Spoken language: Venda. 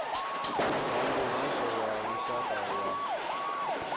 vha muhasho wa lushaka wa